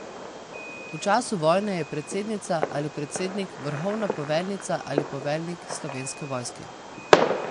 V času vojne je predsednica ali predsednik vrhovna poveljnica ali poveljnik Slovenske vojske.